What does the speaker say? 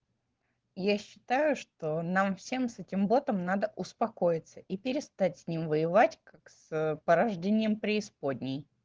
я считаю что нам всем с этим ботом надо успокоиться и перестать с ним воевать как с порождением преисподней